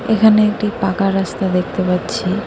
এখানে একটি পাঁকা রাস্তা দেখতে পাচ্ছি।